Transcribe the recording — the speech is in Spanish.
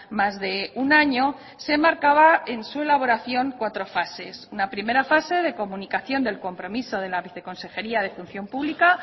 más de un año se marcaba en su elaboración cuatro fases una primera fase de comunicación del compromiso de la viceconsejería de función pública